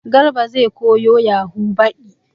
Garba zai koyo yahu baɗi